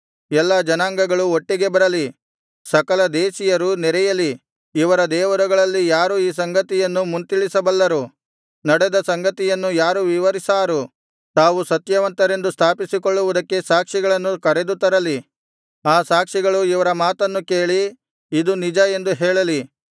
ಎಲ್ಲಾ ಜನಾಂಗಗಳು ಒಟ್ಟಿಗೆ ಬರಲಿ ಸಕಲದೇಶೀಯರು ನೆರೆಯಲಿ ಇವರ ದೇವರುಗಳಲ್ಲಿ ಯಾರು ಈ ಸಂಗತಿಯನ್ನು ಮುಂತಿಳಿಸಬಲ್ಲರು ನಡೆದ ಸಂಗತಿಗಳನ್ನು ಯಾರು ವಿವರಿಸಾರು ತಾವು ಸತ್ಯವಂತರೆಂದು ಸ್ಥಾಪಿಸಿಕೊಳ್ಳುವುದಕ್ಕೆ ಸಾಕ್ಷಿಗಳನ್ನು ಕರೆದುತರಲಿ ಆ ಸಾಕ್ಷಿಗಳು ಇವರ ಮಾತನ್ನು ಕೇಳಿ ಇದು ನಿಜ ಎಂದು ಹೇಳಲಿ